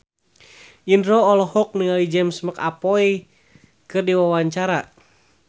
Indro olohok ningali James McAvoy keur diwawancara